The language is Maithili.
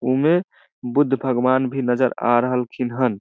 उमे बुद्ध भगवान भी नज़र आ रहलखिन हन।